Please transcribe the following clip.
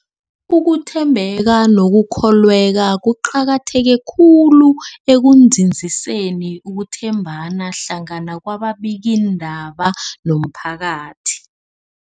Ukuthembeka nokukholweka kuqakatheke khulu ekunzinziseni ukuthembana hlangana kwababikiindaba nomphakathi.